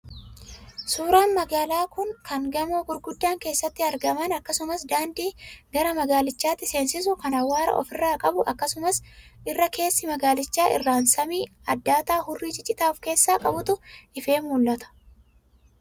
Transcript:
Suuraa magaalaa kan gamoon gurguddoon keessatti argaman akkasumas daandii gara magaalichaatti seensisu kan awwaara ofirraa qabu akkasumas irra keessa magaalichaa irraan samii addaataa hurrii ciccitaa of keessaa qabutu ifee mul'ata.